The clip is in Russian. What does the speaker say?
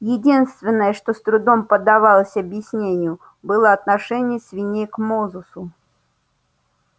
единственное что с трудом поддавалось объяснению было отношение свиней к мозусу